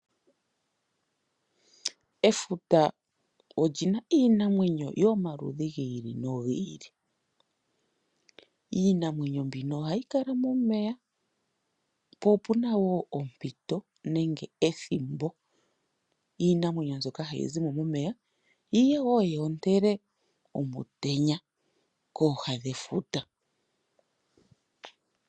Efuta olyina iinamwenyo yomaludhi giili nogiili. Iinamwenyo mbino ohayi kala momeya, po opuna woo ompito nenge ethimbo iinamwenyo mbyoka hayi zi mo momeya yi woo yoontele omutenya kooha dhefuta.